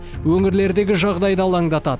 өңірлердегі жағдай да алаңдатады